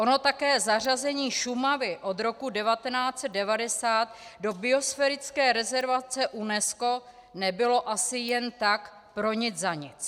Ono také zařazení Šumavy od roku 1990 do biosférické rezervace UNESCO nebylo asi jen tak pro nic za nic.